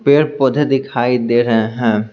पेड़-पौधे दिखाई दे रहे हैं।